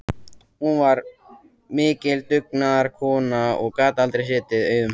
Hún var mikil dugnaðarkona og gat aldrei setið auðum höndum.